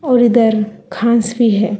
और इधर घास भी है।